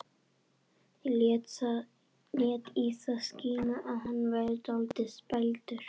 Lét í það skína að hann væri dálítið spældur.